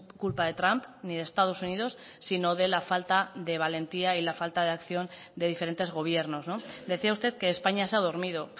culpa de trump ni de estados unidos sino de la falta de valentía y la falta de acción de diferentes gobiernos decía usted que españa se ha dormido